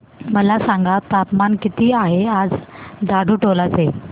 मला सांगा तापमान किती आहे आज झाडुटोला चे